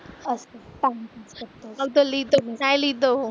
मग तो लिहितो की नाही लिहितो?